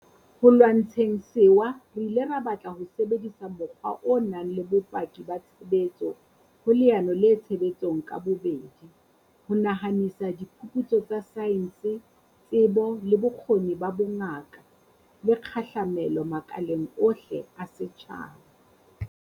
Ho lwantsheng sewa re ile ra batla ho sebedisa mokgwa o nang le bopaki ba tshebetso ho leano le tshebetsong ka bobedi, ho nahanisa diphuputso tsa saense, tsebo le bokgoni ba bongaka, le kgahlamelo makaleng ohle a setjhaba.